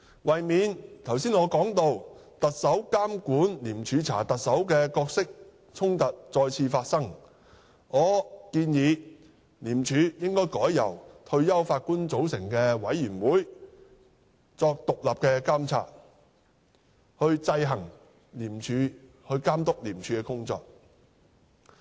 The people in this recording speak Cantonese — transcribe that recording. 為免我剛才提到的"特首監管廉署查特首"的角色衝突再次發生，我建議廉署應改由退休法官組成委員會獨立監察，監督廉署的工作。